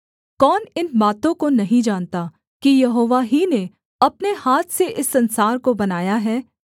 कौन इन बातों को नहीं जानता कि यहोवा ही ने अपने हाथ से इस संसार को बनाया है